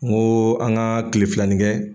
Ŋoo an ŋaa tile filanin kɛ